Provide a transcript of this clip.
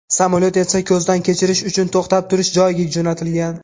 Samolyot esa ko‘zdan kechirish uchun to‘xtab turish joyiga jo‘natilgan.